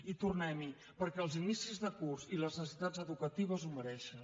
i tornem hi perquè els inicis de curs i les necessitats educatives ho mereixen